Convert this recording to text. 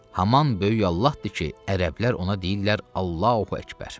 Haman böyük Allahdır ki, ərəblər ona deyirlər Allahu Əkbər.